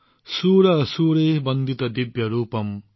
সুৰ অসুৰেঃ বন্দিত্য দিব্য ৰূপম